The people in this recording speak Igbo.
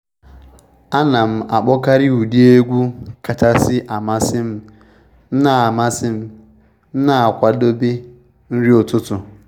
Ana m akpokari ụdị egwu kachasị amasị m m'nna amasị m m'nna akwadebe nri ụtụtụ